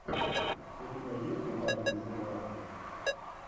у тебя есть угарные сериалы